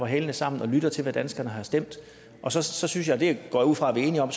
hælene sammen og lytte til hvad danskerne har stemt og så så synes jeg det går jeg ud fra vi er enige om